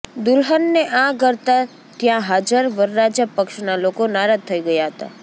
દુલ્હનને આ કરતા ત્યાં હાજર વરરાજા પક્ષના લોકો નારાજ થઇ ગયા હતા